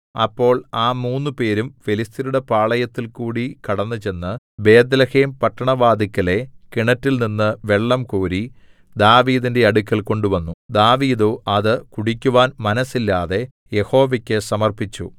അപ്പോൾ ആ മൂന്നുപേരും ഫെലിസ്ത്യരുടെ പാളയത്തിൽകൂടി കടന്നുചെന്നു ബേത്ത്ലേഹേം പട്ടണവാതില്‍ക്കലെ കിണറ്റിൽനിന്നു വെള്ളംകോരി ദാവീദിന്റെ അടുക്കൽ കൊണ്ടുവന്നു ദാവീദോ അത് കുടിക്കുവാൻ മനസ്സില്ലാതെ യഹോവയ്ക്കു സമർപ്പിച്ചു